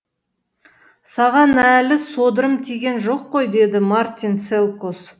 саған әлі содырым тиген жоқ қой деді мартин селқос